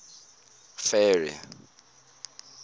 ferry